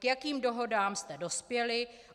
K jakým dohodám jste dospěli?